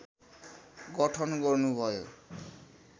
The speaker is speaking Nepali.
गठन गर्नुभयो